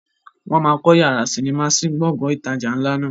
Wọn má kọ yàrá sinimá sí Gbọ̀ngán ìtajà ńlá náà